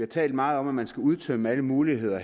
talt meget om at man skal udtømme alle muligheder